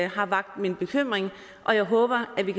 har vakt min bekymring og jeg håber at vi